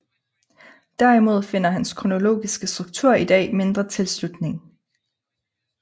Derimod finder hans kronologiske struktur i dag mindre tilslutning